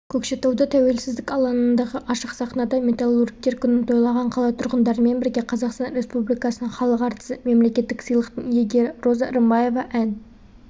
көкшетауда тәуелсіздік алаңындағы ашық сахнада металлургтер күнін тойлаған қала тұрғындарымен бірге қазақстан республикасының халық әртісі мемлекеттік сыйлықтың иегері роза рымбаева ән